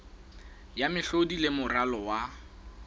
ya mehlodi le moralo wa